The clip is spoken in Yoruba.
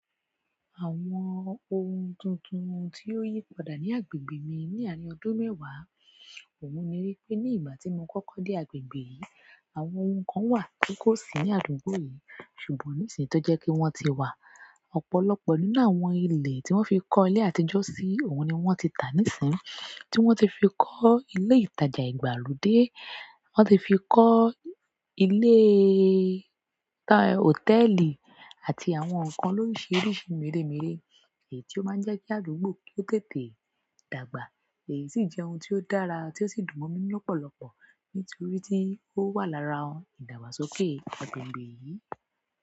Àwọn ohun tuntun tí ó yí padà ní agbègbè mi ní àárín ọdún mẹ́wàá ohun ni wípé ní ìgbà tí mo kọ́kọ́ dé agbègbè yìí, àwọn ohun kan wà ti kò sí ní àdúgbò yìí ṣùgbọ́n nísìnyí tó jẹ́ pé wọ́n ti wà. Ọ̀pọ̀lọpọ̀ nínú àwọn ilé tí wọ́n fi kọ́ ilé àtijọ́ sí ohun ni wọ́n ti tà nísínyii, tí wọ́n ti fi kọ́ ilé ìtajà ìgbàlódé, wọ́n ti fi kọ́ iléè ọ̀tẹ́ẹ̀lì àti àwọn nǹkan lóríṣiríṣi mèremère, èyí ti ó máa ń jẹ́ kí àdúgbò kó tètè dàgbà, èyí sì jẹ́ ohun tí ó dára tí ó sì dùn mọ́ mi inú lọ́pọ̀lọpọ̀ nítorí tí ó wà lára ìdàgbàsókè agbègbè yìí.